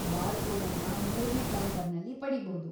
ಬಾರ್‌ಕೋಡನ್ನ ಮೂರನೇ ಕೌಂಟರ್‌ನಲ್ಲಿ ಪಡೀಬೋದು.